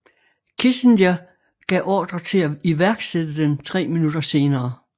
Kissinger gav ordre til at iværksætte den tre minutter senere